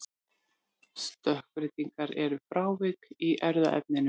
Stökkbreytingar eru frávik í erfðaefninu.